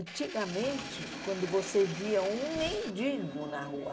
Antigamente, quando você via um mendigo na rua,